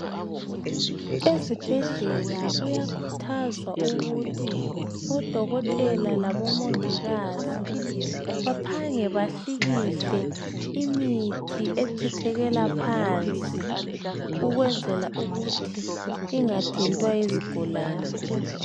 Ezibhedlela kuyakhuthazwa odokotela labomongikazi ukuthi baphange bahlikihle imithi echithekela phansi ukwenzela ukuthi ingathintwa yizigulane.